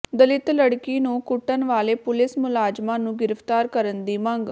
ਦਲਿਤ ਲੜਕੀ ਨੂੰ ਕੁੱਟਣ ਵਾਲੇ ਪੁਲੀਸ ਮੁਲਾਜ਼ਮਾਂ ਨੂੰ ਗ੍ਰਿਫ਼ਤਾਰ ਕਰਨ ਦੀ ਮੰਗ